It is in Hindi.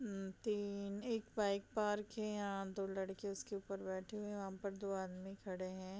उम तीन एक बाइक पार्क है यहाँ | दो लड़के उसके उपर बैठे हुए हैं और वहाँ पर दो आदमी खड़े हैं |